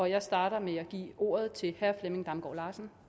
jeg starter med at give ordet til herre flemming damgaard larsen